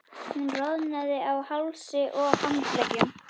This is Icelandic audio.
Hún roðnaði á hálsi og handleggjum.